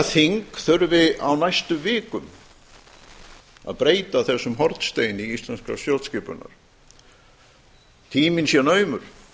þing þurfi á næstu vikum að breyta þessum hornsteini íslenskrar stjórnskipunar tíminn sé naumur